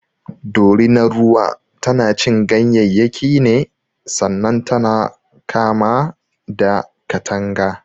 Dorinar ruwa tanacin ganyayyaki ne sannan tana kama da katanga.